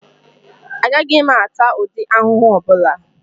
Agaghị m ata ụdị ahụhụ ọbụla